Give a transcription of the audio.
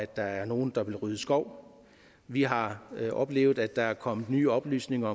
der er nogen der vil rydde skov vi har oplevet at der er kommet nye oplysninger